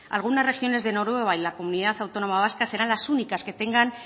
algunas regiones de noruega y la comunidad autónoma vasca serán las únicas que tengan